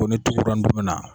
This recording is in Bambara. Ko ni tugura ndomi na.